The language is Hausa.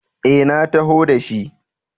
E, na taho da shi.